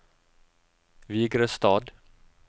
Vigrestad